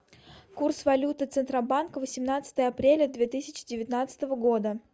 курс валюты центробанка восемнадцатое апреля две тысячи девятнадцатого года